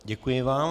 Děkuji vám.